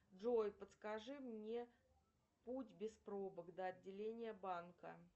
джой подскажи мне путь без пробок до отделения банка